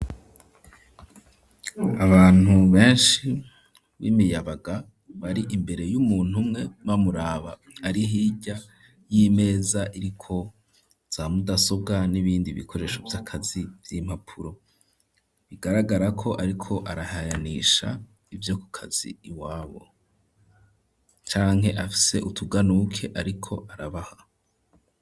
Abantu benshi b'imiyabaga bari imbere y'umuntu umwe bamuraba ari hirya y'imeza iriko za mudasobwa n'ibindi bikoresho vy'akazi vy'impapuro bigaragarako ariko arahayanisha ivyo ku kazi iwabo canke afise utuganuke ariko arabaha.